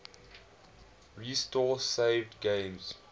restore saved games